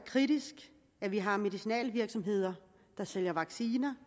kritisk at vi har medicinalvirksomheder der sælger vacciner